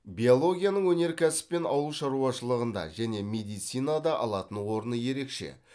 биологияның өнеркәсіп пен ауыл шаруашылығында және медицинада алатын орны ерекше